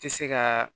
Tɛ se ka